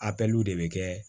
Apiluw de bɛ kɛ